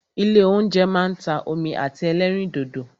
Ilé óúnjẹ máa ń ta omi àti ẹlẹ́rìndòdò.